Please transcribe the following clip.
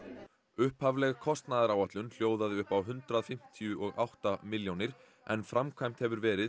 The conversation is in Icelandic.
upphafleg kostnaðaráætlun hljóðaði upp á hundrað fimmtíu og átta milljónir en framkvæmt hefur verið